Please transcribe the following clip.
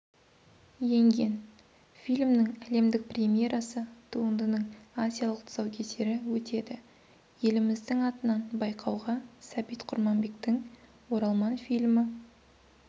енген фильмнің әлемдік премьерасы туындының азиялық тұсаукесері өтеді еліміздің атынан байқауға сәбит құрманбектің оралман фильмі